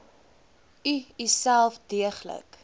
u uself deeglik